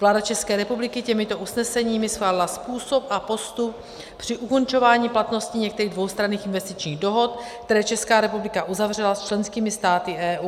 Vláda České republiky těmito usneseními schválila způsob a postup při ukončování platnosti některých dvoustranných investičních dohod, které Česká republika uzavřela s členskými státy EU.